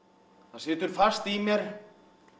það situr fast í mér